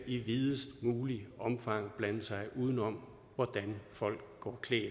i videst muligt omfang blande sig udenom hvordan folk går klædt